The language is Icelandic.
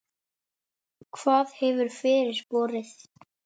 Hvað hefur fyrir borið?